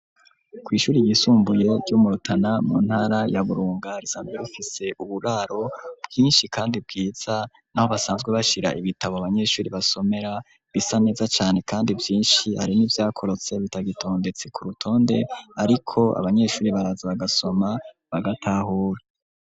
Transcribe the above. Kw''ishure ryisumbuye ryo mu rutana mu ntara ya burunga rizambe bufise uburaro bwinshi kandi bwiza naho basanzwe bashira ibitabo abanyesure basomera bisa neza cane kandi vyinshi hari n'ivyakorotse bitagitondetse ku rutonde ariko abanyesure baraza bagasoma bagatahura.